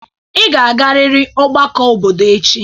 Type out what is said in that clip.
Ị ga-agarịrị ọgbakọ obodo echi!